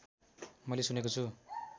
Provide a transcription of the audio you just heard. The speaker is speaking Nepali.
मैले सुनेको छु